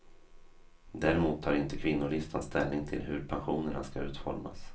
Däremot tar inte kvinnolistan ställning till hur pensionerna ska utformas.